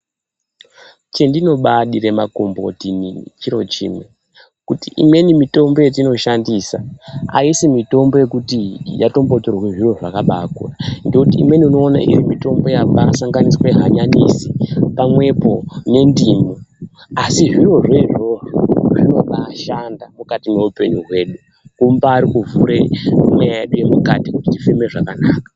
Chendinobaa dire makomboti inini, chiro chimwe, kuti imweni mitombo yetino shandisa, ayisi mitombo yekuti yatombo torwe zviro zvakabaa kura, ndoti imweni unoona iri mitombo yabaa sanganiswe hanyanisi pamwepo nendimu. Asi zvirozvo izvozvo zvinobaa shanda mukati mweupenyu hwedu. Kumbaari kuvhura mweya yedu yemukati, kuti tifeme zvakanaka.